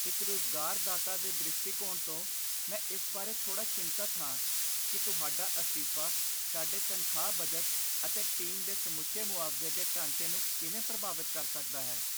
ਇੱਕ ਰੁਜ਼ਗਾਰਦਾਤਾ ਦੇ ਦ੍ਰਿਸ਼ਟੀਕੋਣ ਤੋਂ, ਮੈਂ ਇਸ ਬਾਰੇ ਥੋੜ੍ਹਾ ਚਿੰਤਤ ਹਾਂ ਕਿ ਤੁਹਾਡਾ ਅਸਤੀਫਾ ਸਾਡੇ ਤਨਖਾਹ ਬਜਟ ਅਤੇ ਟੀਮ ਦੇ ਸਮੁੱਚੇ ਮੁਆਵਜ਼ੇ ਦੇ ਢਾਂਚੇ ਨੂੰ ਕਿਵੇਂ ਪ੍ਰਭਾਵਤ ਕਰ ਸਕਦਾ ਹੈ।